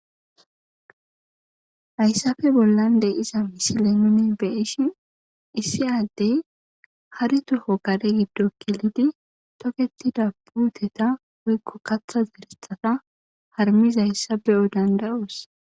Haysspe bollan dey iza misilemine beishin issi addey hari toho kare giddo kilidi toketida puuteta woykko katha zeresata harmis hayssafe'o danda7os.